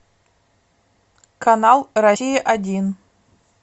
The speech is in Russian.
канал россия один